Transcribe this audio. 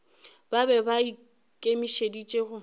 ba be ba ikemišeditše go